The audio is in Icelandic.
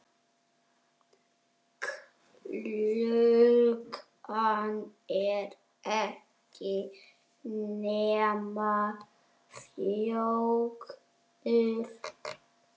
Klukkan er ekki nema fjögur.